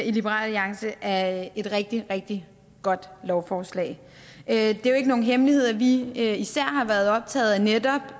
i liberal alliance at det et rigtig rigtig godt lovforslag det er jo ikke nogen hemmelighed at vi især har været optaget af netop